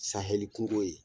Sahɛli kunko ye